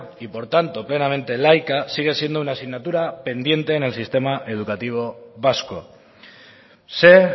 y por tanto plenamente laica sigue siendo una asignatura pendiente en el sistema educativo vasco sé